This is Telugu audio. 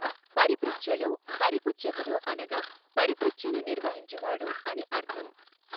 పరిపృచ్ఛలో పరిపుచ్ఛకుడు అనగా పరిపృచ్ఛను నిర్వహించువాడు అని అర్థం.